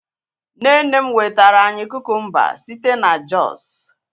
nne nne m wetara anyi kukumba site na jos